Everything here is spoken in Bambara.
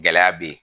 Gɛlɛya be yen